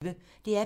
DR P1